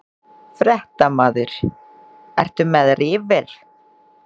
Fréttamaður: Ertu með riffil?